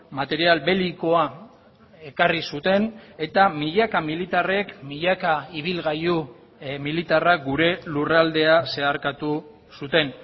material belikoa ekarri zuten eta milaka militarrek milaka ibilgailu militarrak gure lurraldea zeharkatu zuten